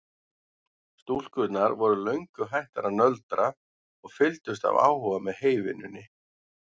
Stúlkurnar voru löngu hættar að nöldra og fylgdust af áhuga með heyvinnunni.